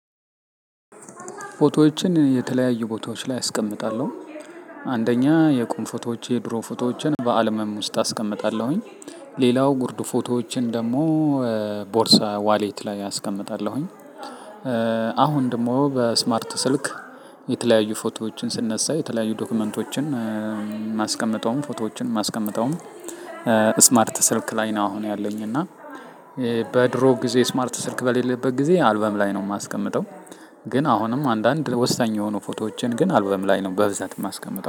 ፎቶዎችን የተለያዩ ቦታዎች ላይ አስቀምጣለሁ። አንደኛ የቁም ፎቶዎች የድሮ ፎቶዎችን በአልበም ውስጥ አስቀምጣለሁኝ። ሌላው ጉርድ ፎቶዎችን ደግሞ ቦርሳ ዋሌት ላይ አስቀምጣለሁኝ። አሁን ደግሞ በስማርት ስልክ የተለያዩ ፎቶዎችን ስነሳ የተለያዩ ዶክመንቶችን እማስቀመጠውም ፎቶዎችን እማስቀመጠውም። ስማርት ስልክ ላይ ነው አሁን ያለኝ እና። በድሮ ጊዜ ስማርት ስልክ በሌለበት ጊዜ አልበም ላይ ነው እማስቀምጠው። ግን አሁንም አንዳንድ ወሳኝ የሆኑ ፎቶዎችን ግን አልበም ላይ ነው በብዛት እማስቀምጠው